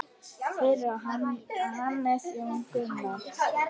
Fyrir á Hannes Jón Gunnar.